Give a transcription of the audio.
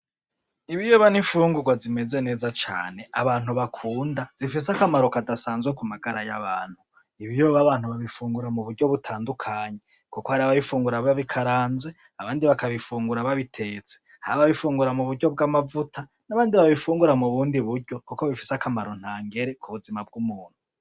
Ibiyoba ni imfungurwa zimeze neza cane abantu bakunda, zifise akamaro kadasanzwe kumagara y'abantu. Ibiyoba abantu babifungura mu buryo butandukanye, kuko hari ababifungura babikaranze abandi bakabifungura babitetse. Hari ababifungura mu buryo bw'amavuta, n'abandi babifungura mu bundi buryo kuko bifise akamaro ntangere ku buzima bw'umuntu.